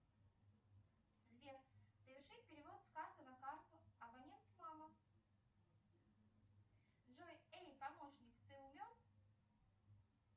сбер совершить перевод с карты на карту абонент мама джой эй помощник ты умен